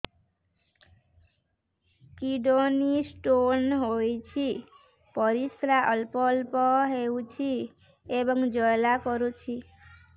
kidney stone ହୋଇଛି ପରିସ୍ରା ଅଳ୍ପ ଅଳ୍ପ ହେଉଛି ଏବଂ ଜ୍ୱାଳା କରୁଛି